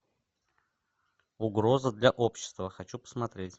угроза для общества хочу посмотреть